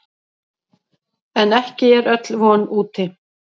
En ekki er öll von úti.